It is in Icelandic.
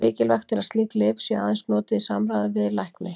Mikilvægt er að slík lyf séu aðeins notuð í samráði við lækni.